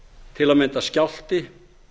til að mynda skjálfti